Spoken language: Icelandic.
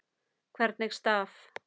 Hvernig staf